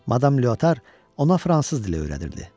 Madam Leotar ona fransız dili öyrədirdi.